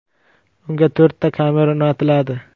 Unga to‘rtta kamera o‘rnatiladi.